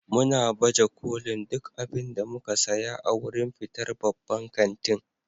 muna baje kolin duk abin da muka saya a wurin fitar babban kantin.